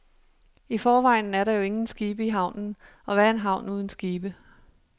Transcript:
I forvejen er der jo ingen skibe i havnen, og hvad er en havn uden skibe.